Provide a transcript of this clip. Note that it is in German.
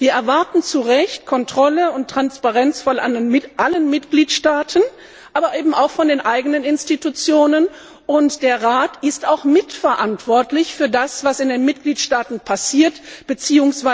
Wir erwarten zu Recht Kontrolle und Transparenz von allen Mitgliedstaaten, aber eben auch von den eigenen Institutionen, und der Rat ist auch mitverantwortlich für das, was in den Mitgliedstaaten passiert bzw.